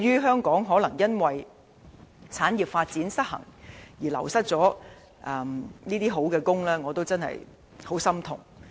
香港由於產業發展失衡，而流失了好職位，對此我非常心痛。